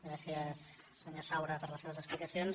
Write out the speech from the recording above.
gràcies senyor saura per les explicacions